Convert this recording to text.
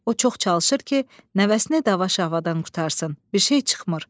O çox çalışır ki, nəvəsini dava-şavadan qurtarsın, bir şey çıxmır.